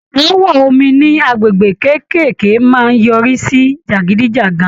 Áàwọ̀ omi ní agbègbè kékèké máa yọrí sí jàgídíjàgan.